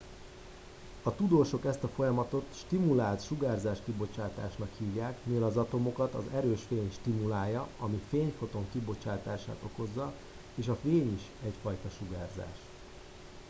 "a tudósok ezt a folyamatot "stimulált sugárzáskibocsátásnak" hívják mivel az atomokat az erős fény stimulálja ami fényfoton kibocsátását okozza és a fény is egyfajta sugárzás.